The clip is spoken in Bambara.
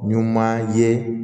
Ɲuman ye